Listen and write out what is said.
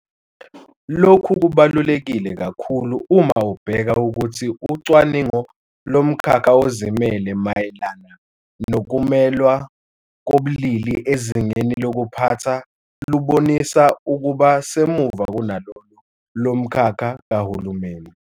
Lokhu kubaluleke kakhulu uma ubheka ukuthi ucwaningo lomkhakha ozimele mayelana nokumelwa kobulili ezingeni lokuphatha lubonisa ukuba semuva kunalolo lomkhakha kahulumeni.